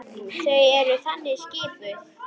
Þau eru þannig skipuð.